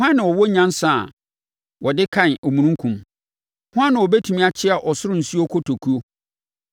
Hwan na ɔwɔ nyansa a wɔde kan omununkum? Hwan na ɔbɛtumi akyea ɔsoro nsuo nkotokuo,